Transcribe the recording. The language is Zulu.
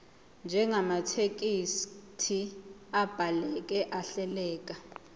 njengamathekisthi abhaleke ahleleka